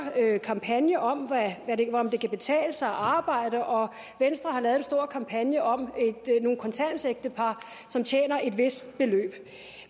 kampagne om om det kan betale sig at arbejde og venstre har lavet en stor kampagne om nogle kontanthjælpsægtepar som tjener et vist beløb